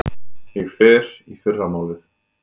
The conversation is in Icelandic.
Ég fer í fyrramálið.